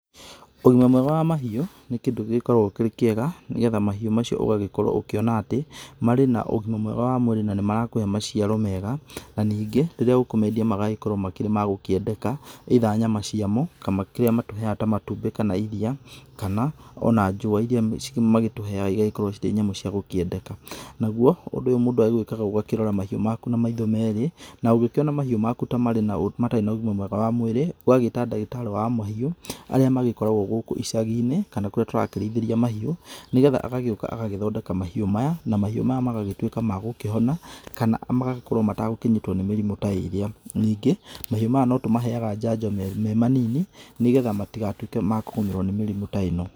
Ũgĩma mwega wa mahĩũ nĩ kĩndũ gĩgĩkoragwo kĩrĩ kĩega nĩgetha mahĩũ macĩo ũgagĩkorwo ũgĩkĩona atĩ marĩ na ũgĩma mwega wa mwĩrĩ na nĩ marakũhe maciaro mega, na ningĩ rĩrĩa ũkũmendia magakorwo makĩrĩ ma gũkĩendeka, either nyama cia mo kana kĩrĩa matũheyaga ta matumbĩ kana ĩriia kana ona njũwa ĩrĩa magĩtũheyaga ĩgakorwo cirĩ nyamũ cia gũkĩendeka. Naguo ũndũ ũyũ mũndũ akĩendaga ũgakĩrora mahĩũ maku na maitho merĩ na ũgĩkĩona mahĩũ maku ta marĩ ta matarĩ na ũgĩma mwega wa mwĩrĩ ũgagĩta ndagĩtarĩ wa mahĩũ arĩa magĩkoragwo gũkũ ĩcaginĩ kana kũrĩa tũrakĩrĩithĩria mahĩũ, nĩgetha agagĩũka agathondeka mahĩũ maya na mahĩũ maya magagĩtuĩka magũkĩhona kana magakorwo matagũkĩnyitwo nĩ mĩrimũ ta ĩrĩa. Ningĩ mahĩũ maya no tũmaheyaga njanjo me manini nĩgetha matigatuĩke ma kũgũmĩrwo nĩ kĩrimũ ta ĩno.